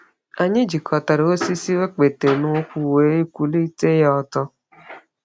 Anyị jikọtara osisi okpete n’ukwu wee kwụlite ha ọtọ.